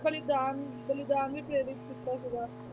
ਬਲੀਦਾਨ ਬਲੀਦਾਨ ਲਈ ਪ੍ਰੇਰਿਤ ਕੀਤਾ ਸੀਗਾ,